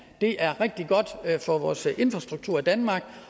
er rigtig godt for vores infrastruktur i danmark